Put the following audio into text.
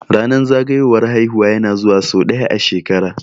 Ranar zagayowar haihuwa ya na zuwa sau ɗaya a shekara